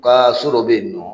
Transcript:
Kaa so dɔ be yen nɔ